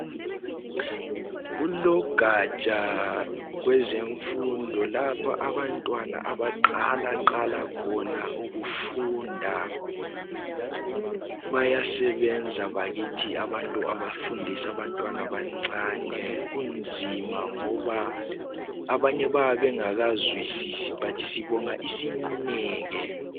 kulogatsha kwezemfundo lapha abantwana abaqalaqala khona ukufunda bayasebenza abakithi abantu abafundisa abantwana abancane kunzima ngoba abanye bayabe bengakazwisisi but sibonga isineke